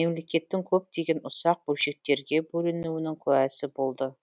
мемлекеттің көптеген ұсақ бөлшектерге бөлінуінің куәсы болды